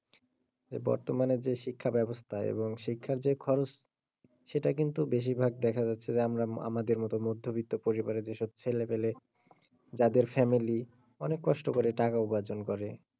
এই বর্তমানে যে শিক্ষার বেবস্থা এবং শিক্ষার যে খরচ সেটা কিন্তু বেশিরভাগ দেখা যাচ্ছে যে আমরা, আমাদের মতো মধ্যবিত্ত পরিবারের ছেলে মেয়ে যাদের family অনেক কষ্ট করে টাকা রোজগার করে,